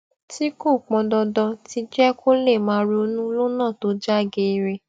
tí kò pọn dandan ti jé kó lè máa ronú lónà tó já geere